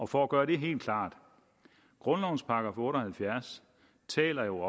for at gøre det helt klart grundlovens § otte og halvfjerds taler jo